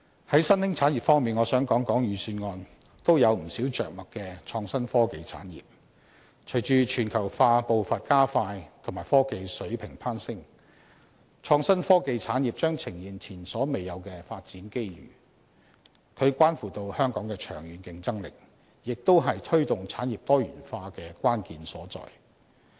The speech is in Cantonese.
在新興產業方面，我想談談預算案均有不少着墨的創新科技產業，隨着全球化步伐加快及科技水平攀升，創新科技產業將呈現前所未有的發展機遇，它關乎香港長遠的競爭力，亦是推動產業多元化的關鍵所在。